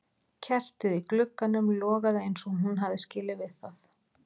Kertið í glugganum logaði eins og hún hafði skilið við það.